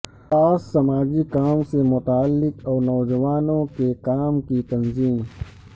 خاص سماجی کام سے متعلق اور نوجوانوں کے کام کی تنظیم